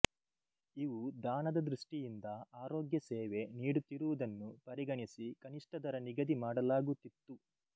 ಇವು ದಾನದ ದೃಷ್ಟಿಯಿಂದ ಆರೋಗ್ಯ ಸೇವೆ ನಿಡುತ್ತಿರುವುದನ್ನು ಪರಿಗಣಿಸಿ ಕನಿಷ್ಟ ದರ ನಿಗದಿ ಮಾಡಲಾಗುತಿತ್ತು